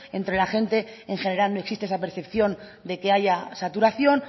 entre la gente en general no existe esa percepción de que haya saturación